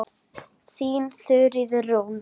Þín Þuríður Rún.